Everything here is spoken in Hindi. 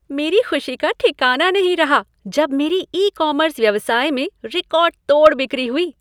मेरी खुशी का ठिकाना नहीं रहा जब मेरे ई कॉमर्स व्यवसाय में रिकॉर्ड तोड़ बिक्री हुई।